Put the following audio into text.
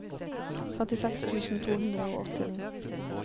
femtiseks tusen to hundre og åttini